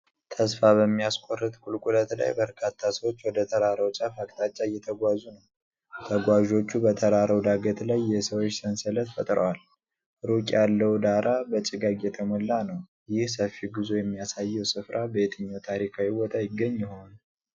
ተስፋ በሚያስቆርጥ ቁልቁለት ላይ በርካታ ሰዎች ወደ ተራራው ጫፍ አቅጣጫ እየተጓዙ ነው። ተጓዦቹ በተራራው ዳገት ላይ የሰዎች ሰንሰለት ፈጥረዋል። ሩቅ ያለው ዳራ በጭጋግ የተሞላ ነው። ይህ ሰፊ ጉዞ የሚያሳየው ሥፍራ በየትኛው ታሪካዊ ቦታ ይገኝ ይሆን?